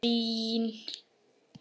Það er ekki vandamálið.